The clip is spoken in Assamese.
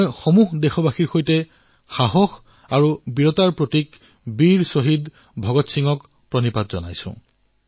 মই সমস্ত দেশবাসীৰ সৈতে সাহস আৰু বীৰত্বৰ প্ৰতিমূৰ্তি শ্বহীদ বীৰ ভগৎ সিঙক প্ৰণাম জনাইছো